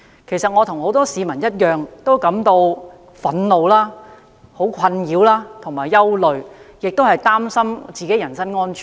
其實，我和很多市民一樣感到憤怒、困擾和憂慮，亦擔心自己的人身安全。